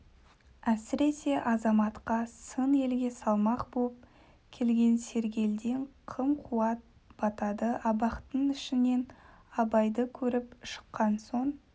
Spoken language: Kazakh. әсіресе азаматқа сын елге салмақ боп келген сергелдең қым-қуыт батады абақты ішінен абайды көріп шыққан соң